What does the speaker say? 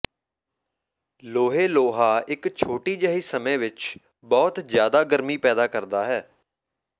ਲੋਹੇ ਲੋਹਾ ਇੱਕ ਛੋਟੀ ਜਿਹੀ ਸਮੇਂ ਵਿੱਚ ਬਹੁਤ ਜ਼ਿਆਦਾ ਗਰਮੀ ਪੈਦਾ ਕਰਦਾ ਹੈ